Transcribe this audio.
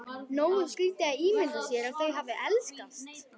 Nógu skrítið að ímynda sér að þau hafi elskast.